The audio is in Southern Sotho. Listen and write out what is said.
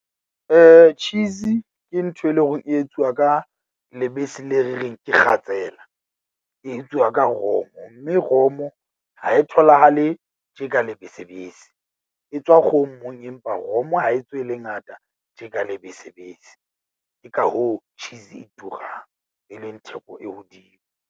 Cheese ke ntho e leng hore e etsuwa ka lebese le re reng ke kgatsela. E etsuwa ka romo mme romo ha e tholahale tje ka lebesebese. E tswa kgomong, empa romo ha e tswe e le ngata tje ka lebesebese. Ke ka hoo cheese e turang, e leng theko e hodimo.